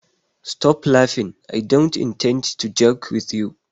Stop laughing, I don't intend to joke with you